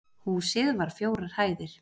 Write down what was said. Húsið var fjórar hæðir